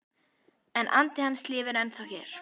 En andi hans lifir ennþá hér